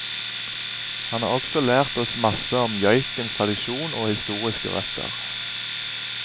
Han har også lært oss masse om joikens tradisjon og historiske røtter.